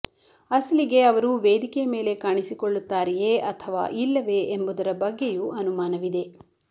ಅಸಲಿಗೆ ಅವರು ವೇದಿಕೆ ಮೇಲೆ ಕಾಣಿಸಿಕೊಳ್ಳುತ್ತಾರೆಯೇ ಅಥವಾ ಇಲ್ಲವೇ ಎಂಬುದರ ಬಗ್ಗೆಯೂ ಅನುಮಾನವಿದೆ